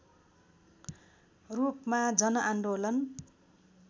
रूपमा जनआन्दोलन